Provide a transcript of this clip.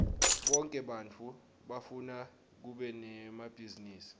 bonke bantfu bafuna kuba nemabhizinisi